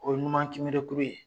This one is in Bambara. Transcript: O ye numan Kinberekuru ye